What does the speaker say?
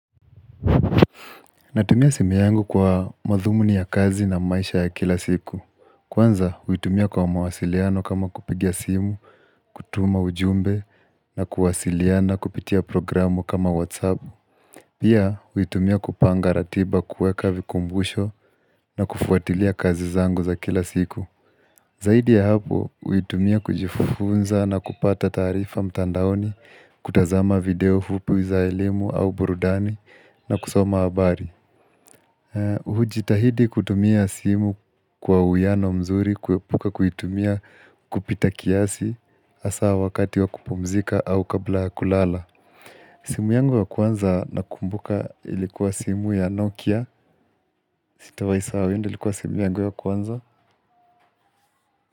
Natumia simu yangu kwa madhumuni ya kazi na maisha ya kila siku. Kwanza, huitumia kwa mawasiliano kama kupiga simu, kutuma ujumbe na kuwasiliana kupitia programu kama Whatsapp. Pia, huitumia kupanga ratiba, kuweka vikumbusho na kufuatilia kazi zangu za kila siku. Zaidi ya hapo, huitumia kujifunza na kupata taarifa mtandaoni, kutazama video fupi za elimu au burudani na kusoma habari. Hujitahidi kutumia simu kwa uwiano mzuri kuepuka kuitumia kupita kiasi hasa wakati wa kupumzika au kabla ya kulala simu yangu ya kwanza nakumbuka ilikuwa simu ya Nokia sitawai sahau, hiyo ndio ilikuwa simu yangu ya kwanza.